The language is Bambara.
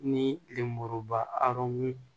Ni lemuruba arɔn